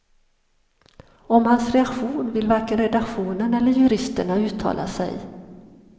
Om hans reaktion vill varken redaktionen eller juristerna uttala sig.